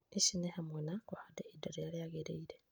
Ici nĩ hamwe na, kũhanda ihinda rĩrĩa rĩagĩrĩire